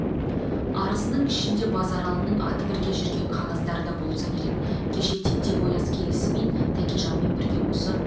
арызының ішінде базаралының аты бірге жүрген қағаздар да болса керек кеше тентек-ояз келісімен тәкежанмен бірге осы